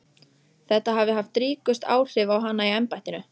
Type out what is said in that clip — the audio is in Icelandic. Þetta hafi haft ríkust áhrif á hana í embættinu.